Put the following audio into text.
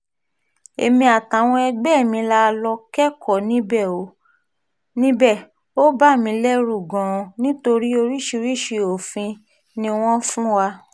èmi àtàwọn ẹgbẹ́ mi la lọ́ọ́ kẹ́kọ̀ọ́ níbẹ̀ ó bà mí lẹ́rù gan-an nítorí oríṣiríṣii òfin ni wọ́n fún wa